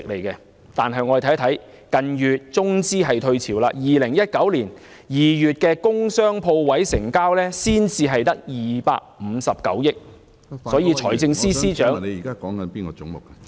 近月中資退潮 ，2019 年首2個月工商鋪位成交總額只有259億元，所以財政司司長......